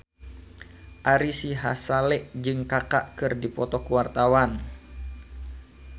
Ari Sihasale jeung Kaka keur dipoto ku wartawan